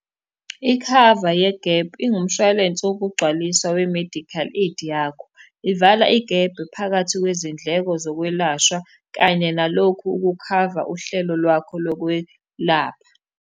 Ikhava yegephu ingumshwalense wokugcwaliswa we-medical aid yakho. Ivala igebhe phakathi kwezindleko zokwelashwa, kanye nalokhu ukukhava uhlelo lwakho lokwelapha.